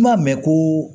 N m'a mɛn ko